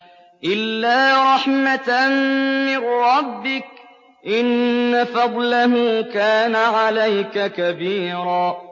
إِلَّا رَحْمَةً مِّن رَّبِّكَ ۚ إِنَّ فَضْلَهُ كَانَ عَلَيْكَ كَبِيرًا